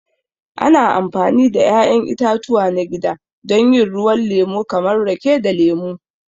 Ana amfani da 'ya'yan itatuwa na gida don yin ruwan lemo kamar rake da lemu.